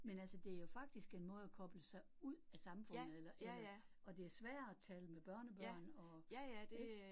Men altså det jo faktisk en måde at koble sig ud af samfundet eller eller, og det sværere at tale med børnebørn og. Ik